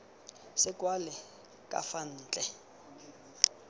se kwalwe ka fa ntle